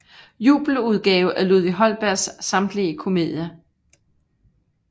Jubeludgave af Ludvig Holbergs samtlige Comoedier